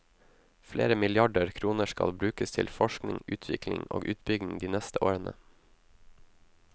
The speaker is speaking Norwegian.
Flere milliarder kroner skal brukes til forskning, utvikling og utbygging de neste årene.